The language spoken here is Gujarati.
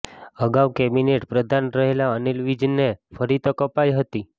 અગાઉ કેબિનેટ પ્રધાન રહેલા અનિલ વિજને ફરી તક અપાઈ હતી